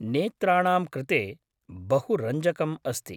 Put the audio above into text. नेत्राणां कृते बहु रञ्जकम् अस्ति।